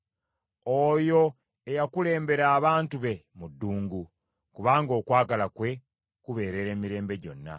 Oyo eyakulembera abantu be mu ddungu, kubanga okwagala kwe kubeerera emirembe gyonna.